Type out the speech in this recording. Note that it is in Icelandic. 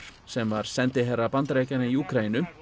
sem var sendiherra Bandaríkjanna í Úkraínu